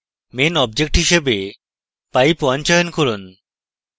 main object হিসাবে pipe _ 1 চয়ন করুন